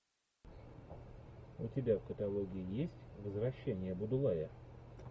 у тебя в каталоге есть возвращение будулая